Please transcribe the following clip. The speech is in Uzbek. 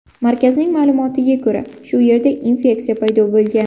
Markazning ma’lumotiga ko‘ra, shu yerda infeksiya paydo bo‘lgan.